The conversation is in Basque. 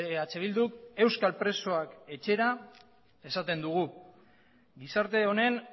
eh bilduk euskal presoak etxera esaten dugu gizarte honen